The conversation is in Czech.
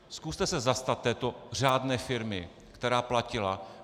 Zkuste se zastat této řádné firmy, která platila.